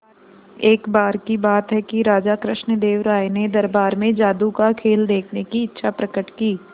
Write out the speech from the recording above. एक बार की बात है कि राजा कृष्णदेव राय ने दरबार में जादू का खेल देखने की इच्छा प्रकट की